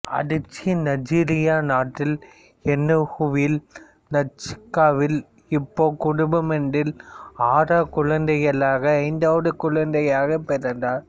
அதிச்சி நைஜீரிய நாட்டில் எனுகுவில் ந்சுக்காவில் இக்போ குடும்பமொன்றில் ஆறு குழந்தைகளில் ஐந்தாவது குழந்தையாக பிறந்தார்